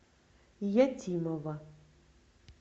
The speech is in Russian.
ятимова